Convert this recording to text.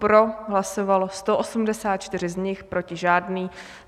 Pro hlasovalo 184 z nich, proti žádný.